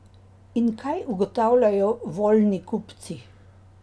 In kaj ugotavljajo voljni kupci?